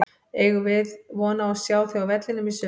Eigum við von á að sjá þig á vellinum í sumar?